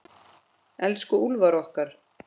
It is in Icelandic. Elsku Úlfar okkar.